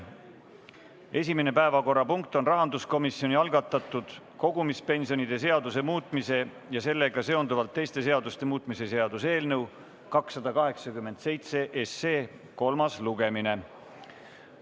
Esimene päevakorrapunkt on rahanduskomisjoni algatatud kogumispensionide seaduse muutmise ja sellega seonduvalt teiste seaduste muutmise seaduse eelnõu 287 kolmas lugemine.